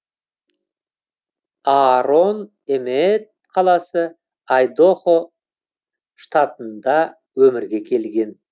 аарон эмеет қаласы айдахо штатында өмірге келген